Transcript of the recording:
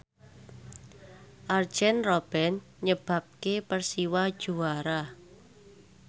Arjen Robben nyebabke Persiwa juara